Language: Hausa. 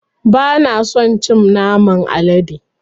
Ba na son cin naman alade.